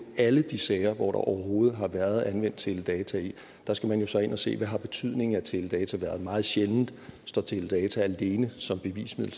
alle de sager hvor der overhovedet har været anvendt teledata i og der skal man jo så ind og se hvad betydningen af teledata har været meget sjældent står teledata alene som bevismiddel